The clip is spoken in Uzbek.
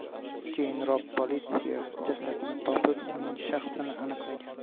Keyinroq politsiya jasadni topib, uning shaxsini aniqlagan.